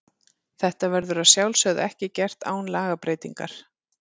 Þetta verður að sjálfsögðu ekki gert án lagabreytingar.